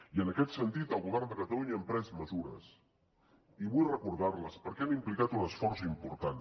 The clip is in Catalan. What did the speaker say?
i en aquest sentit el govern de catalunya hem pres mesures i vull recordar les perquè han implicat un esforç important